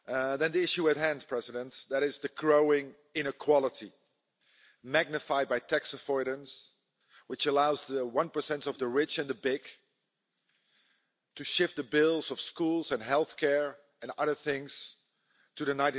The issue at hand, Mr President, is the growing inequality magnified by tax avoidance which allows the 1 of the rich and the big to shift the bills of schools and healthcare and other things onto the